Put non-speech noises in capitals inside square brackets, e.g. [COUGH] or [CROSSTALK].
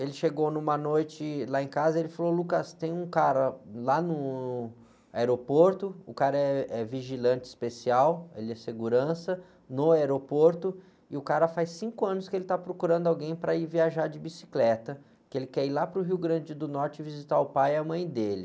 ele chegou numa noite lá em casa e falou, [UNINTELLIGIBLE] tem um cara lá no aeroporto, o cara eh, é vigilante especial, ele é segurança, no aeroporto, e o cara faz cinco anos que ele está procurando alguém para ir viajar de bicicleta, que ele quer ir lá para o Rio Grande do Norte visitar o pai e a mãe dele.